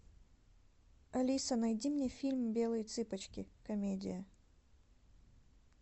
алиса найди мне фильм белые цыпочки комедия